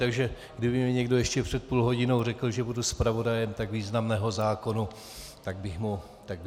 Takže kdyby mi někdo ještě před půl hodinou řekl, že budu zpravodajem tak významného zákona, tak bych mu nevěřil.